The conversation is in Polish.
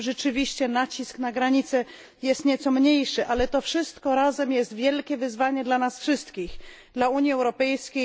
Tam rzeczywiście nacisk na granicę jest nieco mniejszy, ale to wszystko razem jest wielkim wyzwaniem dla nas wszystkich, dla Unii Europejskiej.